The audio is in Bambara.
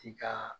Ti ka